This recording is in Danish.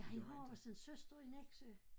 Ja han har også en søster i Nexø